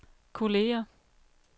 kolleger